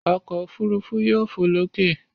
Ọkọ̀ òfurufú yóò fò lókè.